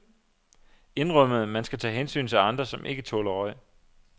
Indrømmet, man skal tage hensyn til andre, som ikke tåler røg.